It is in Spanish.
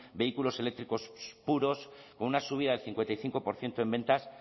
vehículos eléctricos puros como una subida del cincuenta y cinco por ciento en ventas